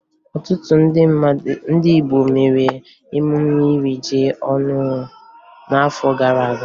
Ọtụtụ ndị Igbo mere emume iri ji ọhụrụ n'afọ gara aga